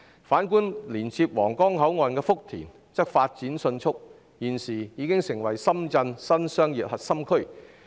反觀連接皇崗口岸的福田區則發展迅速，現時已成為深圳的新商業核心區。